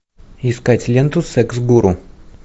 искать ленту секс гуру